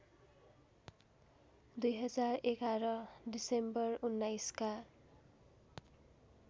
२०११ December १९का